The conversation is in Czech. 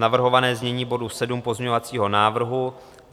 Navrhované znění bodu 7 pozměňovacího návrhu.